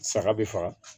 Saga be faga